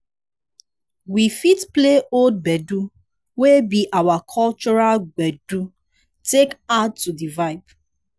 we fit play old gbedu wey be our cultural gbeedu take add to di vibe